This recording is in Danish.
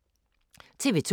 TV 2